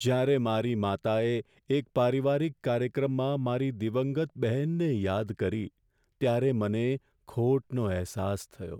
જ્યારે મારી માતાએ એક પારિવારિક કાર્યક્રમમાં મારી દિવંગત બહેનને યાદ કરી ત્યારે મને ખોટનો અહેસાસ થયો.